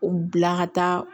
O bila ka taa